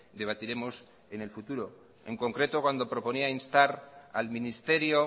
debatiremos en el futuro en concreto cuando proponía instar al ministerio